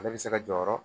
Ale bɛ se ka jɔyɔrɔ